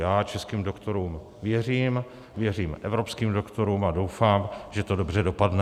Já českým doktorům věřím, věřím evropským doktorům a doufám, že to dobře dopadne.